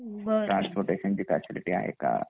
transportation ची facility आहे का